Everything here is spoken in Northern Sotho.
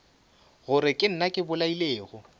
gore ke nna ke bolailego